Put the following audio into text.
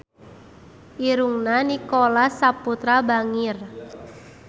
Irungna Nicholas Saputra bangir